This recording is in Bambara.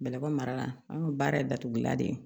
Bɛlɛbɔ mara la an ka baara ye datugulan de ye